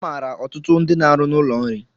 Amaara ọtụtụ ndị n'arụ n'ụlọ nri